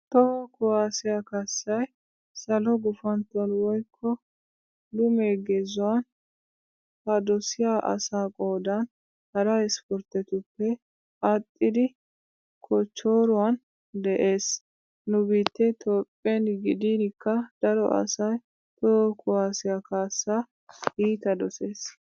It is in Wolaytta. Toho kuwaasiyaa kaassay salo gufantton woykko lume gezuwan a dosiya asaa qoodan hara ispporttetuppe aadhdhidi kochchooruwan de'ees. Nu biittee Toophphen gidiinikka daro asay toho kuwaasiyaa kaassaa iita dosees.